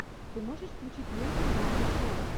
ты можешь включить ленту в жанре шоу